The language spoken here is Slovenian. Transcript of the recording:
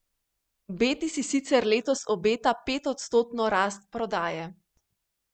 Beti si sicer letos obeta petodstotno rast prodaje.